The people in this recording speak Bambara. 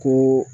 Ko